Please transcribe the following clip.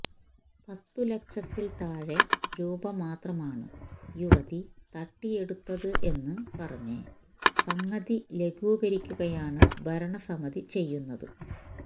പത്തുലക്ഷത്തില് താഴെ രൂപ മാത്രമാണ് യുവതി തട്ടിയെടുത്തത് എന്നു പറഞ്ഞ് സംഗതി ലഘൂകരിക്കുകയാണ് ഭരണ സമിതി ചെയ്യുന്നത്